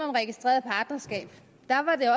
om registreret partnerskab